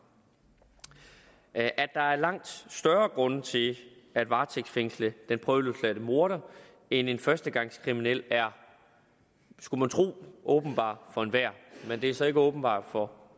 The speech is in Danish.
at der er langt større grunde til at varetægtsfængsle den prøveløsladte morder end en førstegangskriminel er skulle man tro åbenbar for enhver men det er så ikke åbenbart for